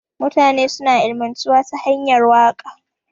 Mutane suna ilimantuwa da hanyar waka.